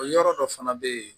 O yɔrɔ dɔ fana bɛ yen